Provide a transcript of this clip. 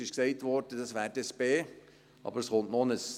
es wurde gesagt, das wäre dann das B. Aber es kommt noch